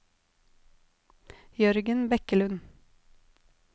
Jørgen Bekkelund